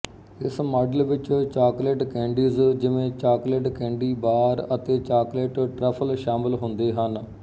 ਇਸ ਮਾਡਲ ਵਿੱਚ chocolate candies ਜਿਵੇਂ ਚਾਕਲੇਟ ਕੈਡੀ ਬਾਰ ਅਤੇ ਚਾਕਲੇਟ ਟਰੱਫਲ ਸ਼ਾਮਲ ਹੁੰਦੇ ਹਨ